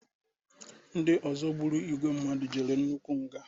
ndị ọzọ gburu igwe mmadụ jere nnukwu nga